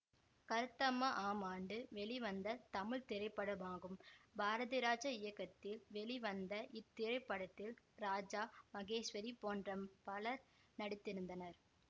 கருத்தம்மா ஆம் ஆண்டு வெளிவந்த தமிழ் திரைப்படமாகும் பாரதிராஜா இயக்கத்தில் வெளிவந்த இத்திரைப்படத்தில் ராஜா மகேஷ்வரி போன்ற பலர் நடித்திருந்தனர்